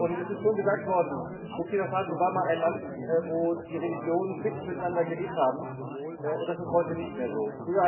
Es ist schon gesagt worden Burkina Faso war mal ein Land, wo die Religionen friedlich miteinander gelebt haben, und das ist heute nicht mehr so.